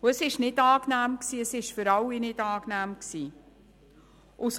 und es für niemanden angenehm war.